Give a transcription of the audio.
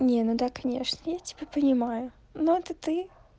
не ну да конечно я тебя понимаю но это ты